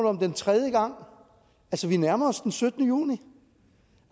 om den tredje gang vi nærmer os altså den syttende juni